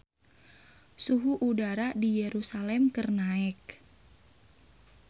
Suhu udara di Yerusalam keur naek